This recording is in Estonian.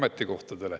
Ei tekita.